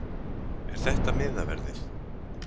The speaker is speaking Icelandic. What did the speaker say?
Er þetta miðaverðið?